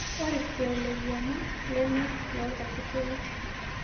Ore siruai le enkiyama leme loo ilkarsisi ake.